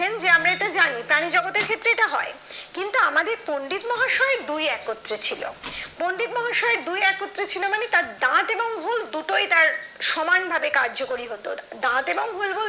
যে আমরা এটা জানি প্রাণী জগতের ক্ষেত্রে এটা হয় কিন্তু আমাদের পন্ডিত মহাশয় দুই একত্রে ছিল পন্ডিত মহাশয় দুই একত্রে ছিল মানে তার দাঁত এবং হুল দুটোই তার সমান ভাবে কার্যকারী হত দাঁত এবং হুল বলতে